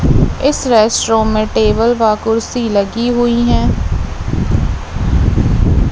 इस restaurant table व कुर्सी लगी हुई है।